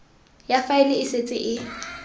ya faele e setse e